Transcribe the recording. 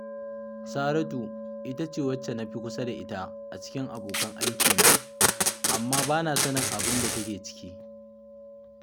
Saratu ita ce wadda na fi kusa da ita a cikin abokan aikina, amma ba na sanin abin da take ciki